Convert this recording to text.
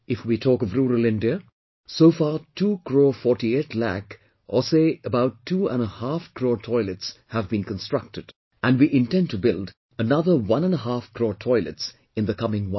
If we talk of rural India, so far 2 crore 48 lakh or say about two and a half crore toilets have been constructed and we intend to build another one and a half crore toilets in the coming one year